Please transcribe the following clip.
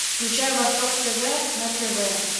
включай восток тв на тв